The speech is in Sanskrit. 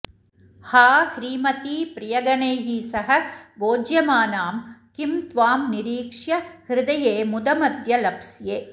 हा ह्रीमति प्रियगणैः सह भोज्यमानां किं त्वां निरीक्ष्य हृदये मुदमद्य लप्स्ये